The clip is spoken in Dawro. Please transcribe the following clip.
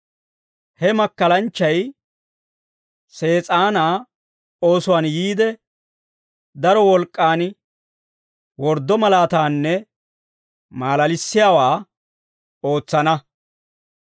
He makkalanchchay Sees'aanaa oosuwaan yiide, daro wolk'k'aan worddo malaataanne maalalissiyaawaa ootsana.